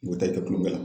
U ta i tɛ kulonkɛ la